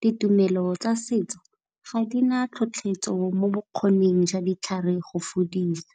ditumelo tsa setso ga dina tlhotlhetso mo bokgoning jwa ditlhare go fodisa.